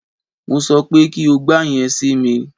Mo sọ pé kí o gba yẹn si mi!